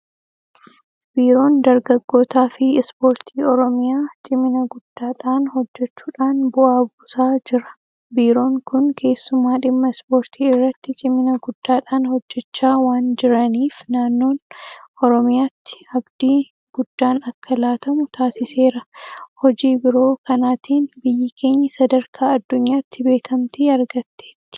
Biiroon dargaggootaafi Ispoortii Oromiyaa cimina guddaadhaan hojjechuudhaan bu'aa buusaa jira. Biiroon kun keessumaa dhimma ispoortii irratti cimina guddaadhaan hojjechaa waanjiraniif naannoon Oromiyaatti abdiin guddaan akka laatamu taasiseera. Hojii biiroo kanaatiin biyyi keenya sadarkaa addunyaatti beekamtii argatteetti.